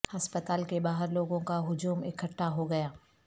ہسپتال کے باہر لوگوں کا ہجوم اکھٹا ہو گیا